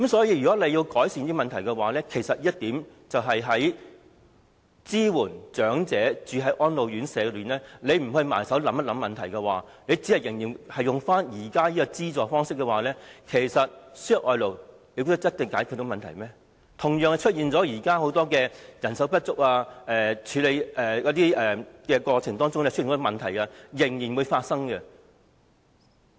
因此，政府要改善這問題，只考慮資助長者入住安老院舍，而不埋首思考問題根本，仍然沿用現行資助的方式的話，輸入外勞未必能解決問題，現時的人手不足或工作性質上很多問題同樣會發生。